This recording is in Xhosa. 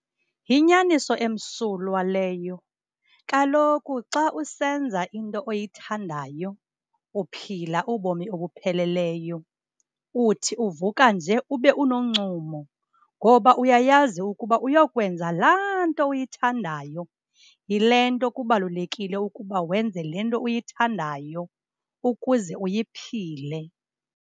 Yinyaniso emsulwa leyo. Kaloku xa usenza into oyithandayo uphila ubomi obupheleleyo. Uthi uvuka nje ube unoncumo ngoba uyayazi ukuba uyokwenza laa nto uyithandayo. Yile nto kubalulekile ukuba wenze le nto uyithandayo ukuze uyiphile.